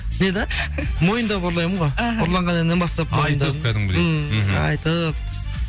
не да мойындап ұрлаймын ғой іхі ұрланған әннен бастап айтып кәдімгідей ммм айтып